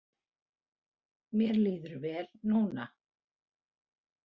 Mér líður vel núna.